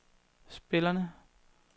spillerne